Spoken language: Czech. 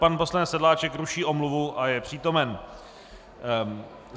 Pan poslanec Sedláček ruší omluvu a je přítomen.